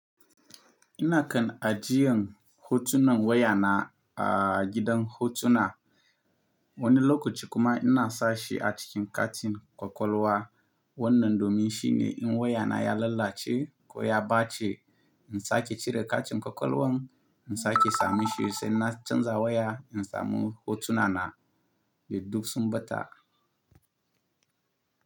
Ina kan ajiyan hotunan wayana a gidan hotuna. Wani lokaci kuma ina sashi a cikin katin kwakwalwa. Wannan domin shine in wayana ya lalace ko ya ɓace, in sake cire katin kwakwalwan, in sake samun shi sai na canza waya in samu hotunana duk sun bata.